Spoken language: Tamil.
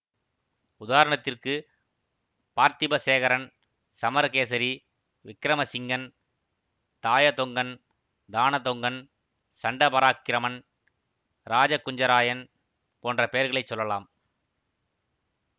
உதாரணத்திற்கு பார்த்திப சேகரன் சமரகேசரி விக்கிரமசிங்கன் தாயதொங்கன் தானதொங்கன் சண்டபராக்கிரமன் இராஜகுஞ்சராயன் போன்ற பெயர்களைச் சொல்லலாம்